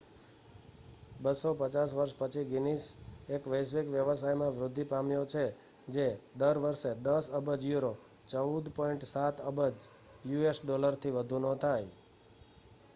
250 વર્ષ પછી ગિનીસ એક વૈશ્વિક વ્યવસાયમાં વૃદ્ધિ પામ્યો છે જે દર વર્ષે 10 અબજ યુરો 14.7 અબજ યુએસ ડોલર થી વધુનો થાય